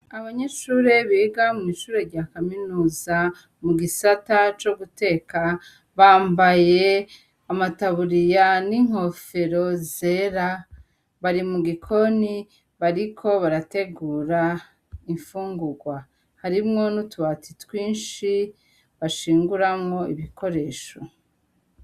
Abanyishure biga mw'ishure rya kaminuza mu gisata co guteka, bambaye amataburiya n'inkofero zera bari mu gikoni bariko barategura imfungurwa, harimwo n’utubati twinshi bashinguramwo ibikoresho.